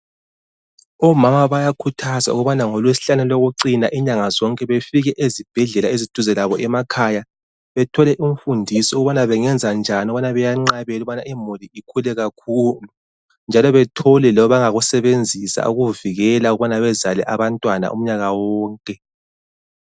Omama bayakhuthazwa ukubana ngolwesihlanu lokucina inyanga zonke befike ezibhedlela eziduze labo emakhaya bethole imfundiso ukubana bengenza njani ukubana benqabele ukubana imuli ikhule kakhulu. Njalo bethole labangakusebenzisa ukuvikela ukubana bezale abantwana umnyaka wonke.